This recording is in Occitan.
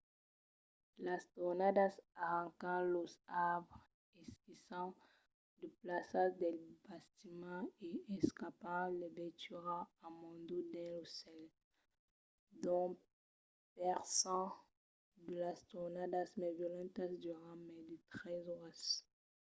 las tornadas arrancan los arbres esquiçan de placas dels bastiments e escampan las veituras amondaut dins lo cèl. dos per cent de las tornadas mai violentas duran mai de tres oras